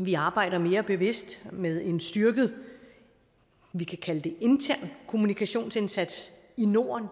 vi arbejder mere bevidst med en styrket vi kan kalde det intern kommunikationsindsats i norden